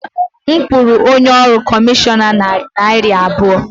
M kwụrụ onye ọrụ kọmishọna narị naira abụọ.